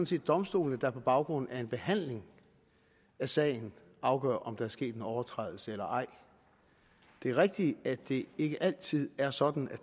set domstolene der på baggrund af en behandling af sagen afgør om der er sket en overtrædelse eller ej det er rigtigt at det ikke altid er sådan at